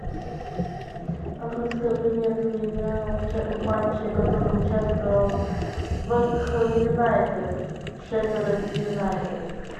английская премьер лига в матче которой участвовал вест хэм юнайтед шеффилд юнайтед